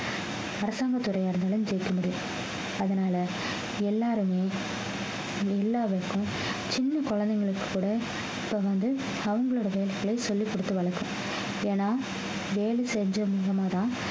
அரசாங்கத் துறையா இருந்தாலும் ஜெயிக்க முடியும் அதனால எல்லாருமே இந்த எல்லாருக்கும் சின்ன குழந்தைங்களுக்கு கூட இப்ப வந்து அவங்களோட வேலையை சொல்லி கொடுத்து வளர்க்கணும் ஏன்னா வேலை செஞ்சு மூலமாதான்